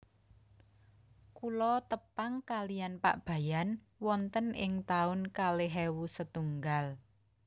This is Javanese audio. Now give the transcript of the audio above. Kulo tepang kaliyan Pak Bayan wonten ing taun kalih ewu setunggal